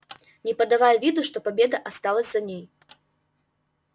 не подавая виду что победа осталась за ней